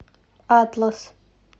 атлас